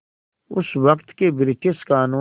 उस वक़्त के ब्रिटिश क़ानून